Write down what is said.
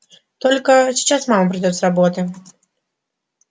только сейчас мама придёт с работы